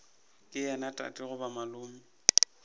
ke yena tate goba malome